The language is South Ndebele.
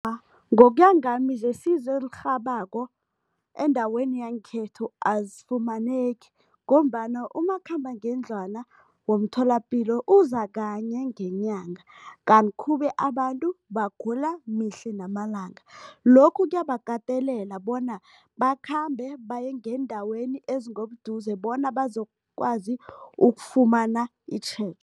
Ngokuya ngami zesizo elirhabako endaweni yangekhethu azifumaneki ngombana umakhambangendlwana womtholapilo uza kanye ngenyanga, kanti khube abantu bagula mihla namalanga. Lokhu kuyabakatelela bona bakhambe baye ngeendaweni ezingobuduze bona bazokwazi ukufumana